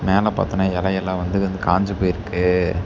மேல பாத்தோனா எலையெல்லா வந்து காஞ்சு போயிருக்கு.